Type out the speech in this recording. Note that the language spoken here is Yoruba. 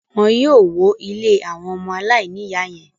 Wọn yóò wó ilé àwọn ọmọ aláìníìyá yẹn.